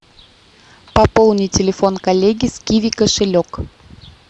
пополни телефон коллеги с киви кошелек